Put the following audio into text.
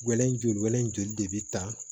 Wɛlɛ joli de bɛ ta